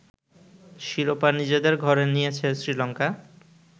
শিরোপা নিজেদের ঘরে নিয়েছে শ্রীলঙ্কা